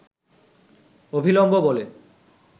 অভিলম্ব বলে